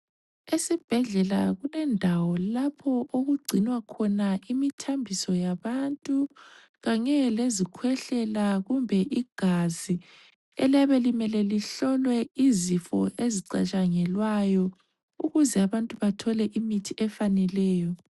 Esibhedlela kulendawo lapho okugcinwa khona imithambiso yabantu, kanye lezikhwehlela kumbe igazi eliyabe limele lihlolwe izifo ezicatshangelwayo ukuze abantu bathole imithi efaneleyo.